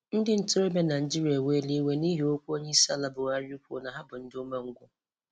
Ndị ntorobia Naijiria eweela iwe n'ihi okwu Onyeisiala Buhari kwuru na ha dị umengwụ.